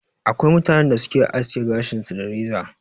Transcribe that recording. Akwai mutanen da su Ke aske gashin su da reza.